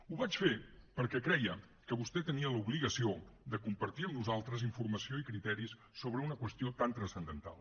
ho vaig fer perquè creia que vostè tenia l’obligació de compartir amb nosaltres informació i criteris sobre una qüestió tan transcendental